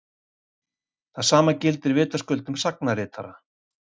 Það sama gildir vitaskuld um sagnaritara.